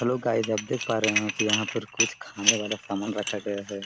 Hello guys आप देख पा रहे हैं के यहाँ पर कुछ खाने वाला सामान रखा गया हैं।